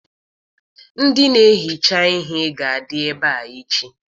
Ndị na-ehicha ihe ga-adị ebe a echi.